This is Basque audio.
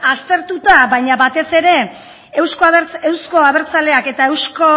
aztertuta baina batez ere euzko abertzaleak eta